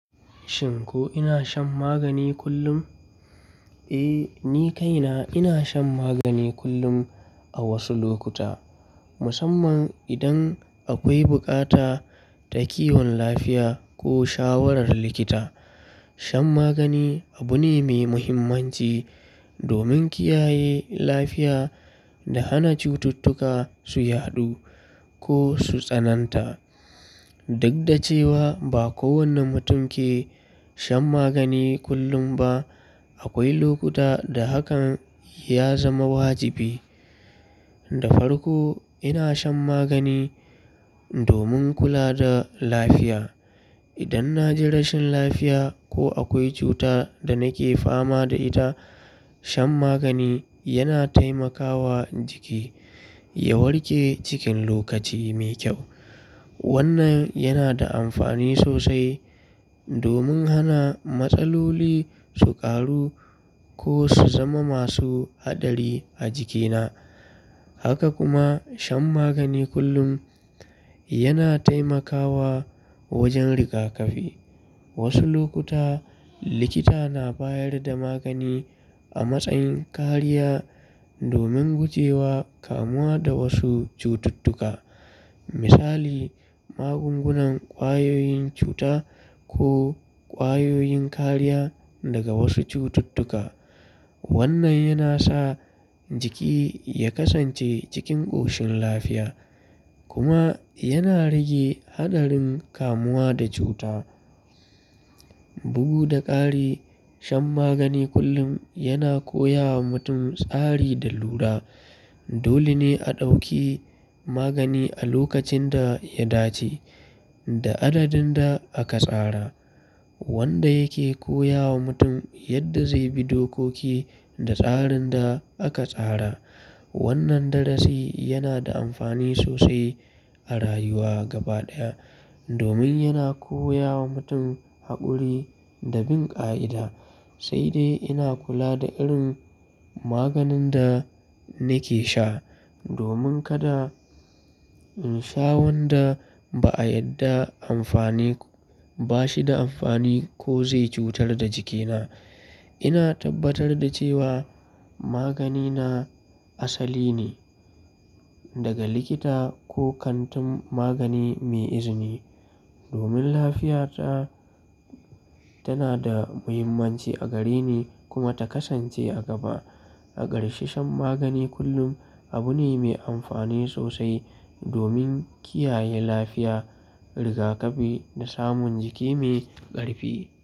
Shin ko ina shan magani kullum? Eh, ni kaina ina shan magani kullum a wasu lokuta, musamman idan akwai bukata ta kiwon lafiya ko shawarar likita. Shan magani abu ne mai muhimmanci domin kiyaye lafiya da hana cututtuka su yaɗu ko su tsananta. Duk da cewa ba kowanne mutum ke shan magani kullum ba, akwai lokuta da hakan ya zama wajibi. Da farko, ina shan magani domin kula da lafiya. Idan na ji rashin lafiya ko akwai cuta da nake fama da ita, shan magani yana taimakawa jiki ya warke cikin lokaci mai kyau. Wannan yana da amfani sosai domin hana matsaloli su ƙaru ko su zama masu haɗari a jikina. Haka kuma, shan magani kullum yana taimakawa wajen rigakafi. Wasu lokuta, likita na bayar da magani a matsayin kariya domin guje wa kamuwa da wasu cututtuka. Misali, magungunan ƙwayoyin cuta ko ƙwayoyin kariya daga wasu cututtuka. Wannan yana sa jiki ya kasance cikin ƙoshin lafiya kuma yana rage haɗarin kamuwa da cuta. Bugu da ƙari, shan magani kullum yana koya wa mutum tsari da lura. Dole ne a ɗauki magani a lokacin da ya dace da adadin da aka tsara, wanda yake koya wa mutum yadda zai bi dokoki da tsarin da aka tsara. Wannan darasi yana da amfani sosai a rayuwa gaba ɗaya domin yana koya wa mutum haƙuri da bin ƙa'ida. Sai dai ina kula da irin maganin da nake sha domin kada in sha wanda ba a yadda amfani, ba shi da amfani ko zai cutar da jikina. Ina tabbatar da cewa magani na asali ne daga likita ko kantin magani mai izini domin lafiyata tana da muhimmanci a gare ni kuma ta kasance a gaba. A ƙarshe, shan magani kullum abu ne mai amfani sosai domin kiyaye lafiya, rigakafi da samun jiki mai ƙarfi.